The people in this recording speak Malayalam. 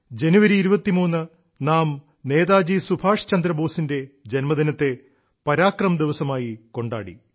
ജനുവരി 23 നാം നേതാജി സുഭാഷ് ചന്ദ്രബോസിന്റെ ജ•ദിനത്തെ പരാക്രം ദിവസമായി കൊണ്ടാടി